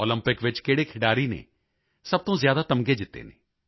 Olympic ਵਿੱਚ ਕਿਹੜੇ ਖਿਡਾਰੀ ਨੇ ਸਭ ਤੋਂ ਜ਼ਿਆਦਾ ਤਮਗੇ ਜਿੱਤੇ ਹਨ